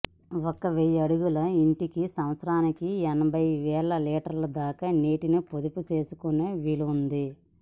ఒక వెయ్యి అడుగుల ఇంటికి సంవత్సరానికి ఎనభైవేల లీటర్ల దాకా నీటిని పొదుపు చేసుకునే వీలుంది